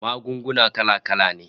Magunguna kala-kala ne